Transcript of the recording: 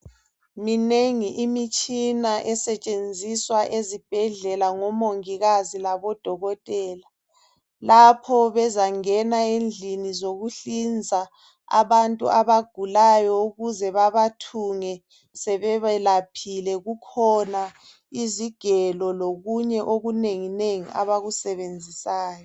Minengi imitshina esetshenziswa ezibhedlela ngomongikazi labodokotela. Lapho bezangena endlini zokuhlinza abantu abagulayo ukuze babathunge sebebelaphile, kukhona izigelo lokunye okunenginengi abakusebenzisayo